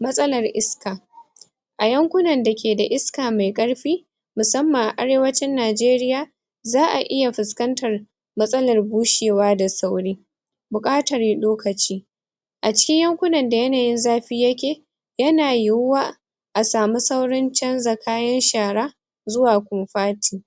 matsalar iska a yankunan da ke da iska me ƙarfi musamman a Arewacin Najeriya za'a iya fuskantar matsalar bushewa da sauri buƙatar lokaci a cikin yankunan da yanayin zafi yake yana yiwuwa a samu saurin canza kayan shara zuwa konfati.